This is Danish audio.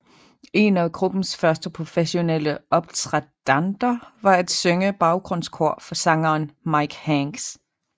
En af gruppens første professionelle optrædender var at synge baggrundskor for sangeren Mike Hanks